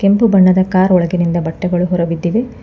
ಕೆಂಪು ಬಣ್ಣದ ಕಾರ್ ಒಳಗಿನಿಂದ ಬಟ್ಟೆಗಳು ಹೊರಬಿದ್ದಿವೆ.